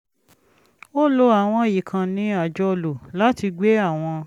ó lo àwọn ìkànnì àjọlò láti gbé àwọn